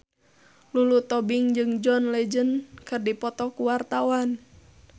Lulu Tobing jeung John Legend keur dipoto ku wartawan